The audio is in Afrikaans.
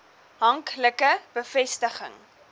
hank like bevestiging